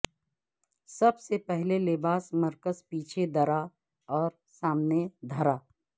سب سے پہلے لباس مرکز پیچھے درا اور سامنے دھرا